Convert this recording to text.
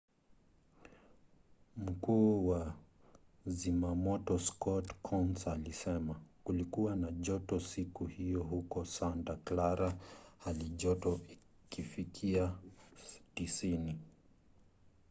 mkuu wa zimamoto scott kouns alisema kulikuwa na joto siku hiyo huko santa clara halijoto ikifikia 90